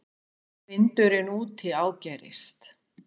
Vindurinn úti ágerist.